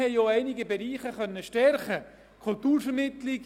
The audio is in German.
Dies ist das Ende der Sitzung dieses Montagnachmittags.